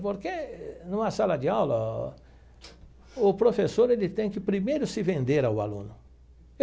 Porque, numa sala de aula, o professor ele tem que primeiro se vender ao aluno.